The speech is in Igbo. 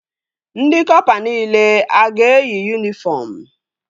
Ndị kọpa nile a ga-eyi yunifọm?